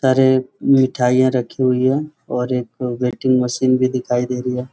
सारे मिठाइयां रखी हुई हैऔर एक वेइटिंग मशीन भी दिखाई दे रही है।